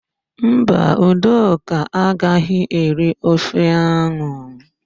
Mba, Udoka agaghị eri ofe áhụ̀.